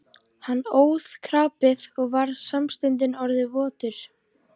Hann óð krapið og var samstundis orðinn votur.